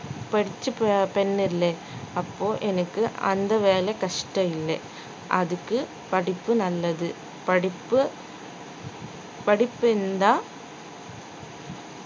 படிச்ச ப~ பெண் இல்லே அப்போ எனக்கு அந்த வேலை கஷ்டம் இல்லை அதுக்கு படிப்பு நல்லது படிப்பு படிப்பு இருந்தா